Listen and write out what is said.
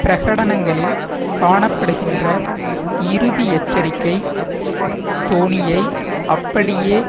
பிரகடனங்களில் காண படுகின்ற இறுதி எச்சரிக்கை தோனியை அப்படியே